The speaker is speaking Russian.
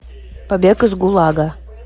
побег из гулага